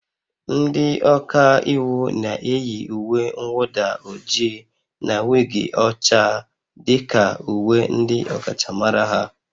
Ndị ọka iwu na-eyi uwe mwụda ojii na wig ọcha dị ka uwe ndị ọkachamara ha